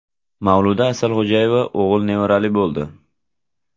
Mavluda Asalxo‘jayeva o‘g‘il nevarali bo‘ldi.